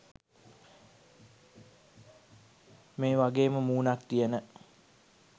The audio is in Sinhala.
මේ වගේම මුනක් තියන